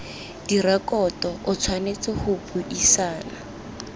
direkoto o tshwanetse go buisana